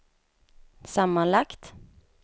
sammanlagt